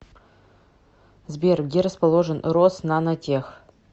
сбер где расположен роснанотех